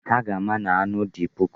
Ha ga-ama na anụ dị puku.